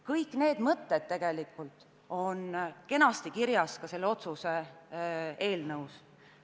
Kõik need mõtted on tegelikult kenasti kirjas ka selle otsuse eelnõus.